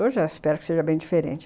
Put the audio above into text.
Hoje eu espero que seja bem diferente.